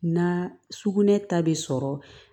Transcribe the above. Na sugunɛ ta bɛ sɔrɔ